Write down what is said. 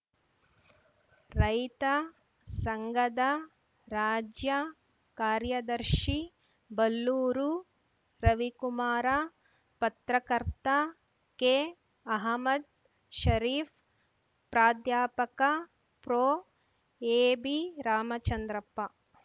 ರೈತ ಸಂಘದ ರಾಜ್ಯ ಕಾರ್ಯದರ್ಶಿ ಬಲ್ಲೂರು ರವಿಕುಮಾರ ಪತ್ರಕರ್ತ ಕೆಅಹಮ್ಮದ್‌ ಷರೀಫ್‌ ಪ್ರಾಧ್ಯಾಪಕ ಪ್ರೊಎಬಿರಾಮಚಂದ್ರಪ್ಪ